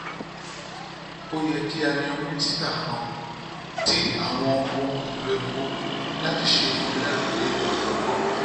o yẹ ki a yan minisita kan ti awọn ohun elo epo lati ṣe igbelaruge ọjọgbọn